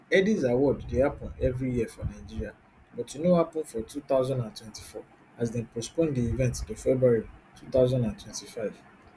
headies award dey happun evri year for nigeria but e no happun for two thousand and twenty-four as dem postpone di event to february two thousand and twenty-five